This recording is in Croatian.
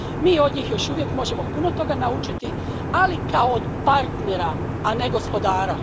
Mi od njih još uvijek možemo puno toga naučiti, ali kao od partnera, a ne gospodara.